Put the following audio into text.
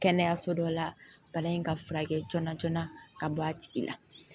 Kɛnɛyaso dɔ la bana in ka furakɛ joona joona ka bɔ a tigi la